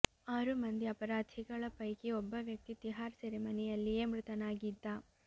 ಆರು ಮಂದಿ ಅಪರಾಧಿಗಳ ಪೈಕಿ ಒಬ್ಬ ವ್ಯಕ್ತಿ ತಿಹಾರ್ ಸೆರೆಮನೆಯಲ್ಲಿಯೇ ಮೃತನಾಗಿದ್ದ